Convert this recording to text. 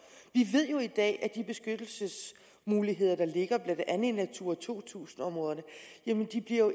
ved jo i dag at de beskyttelsesmuligheder der ligger blandt andet i natura to tusind områderne